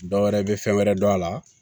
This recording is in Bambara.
Dɔwɛrɛ bɛ fɛn wɛrɛ dɔn a la